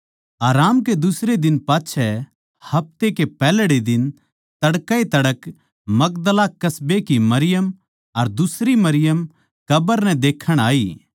आराम कै दुसरै दिन पाच्छै हफ्ते कै पैहल्ड़े दिन तड़कै ए तड़कै मगदला कस्बे की मरियम अर दुसरी मरियम कब्र नै देखण आई